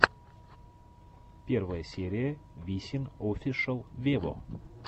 первая серия висин офишел вево